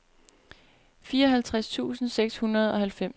fireoghalvtreds tusind seks hundrede og halvfems